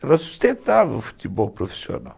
Ela sustentava o futebol profissional.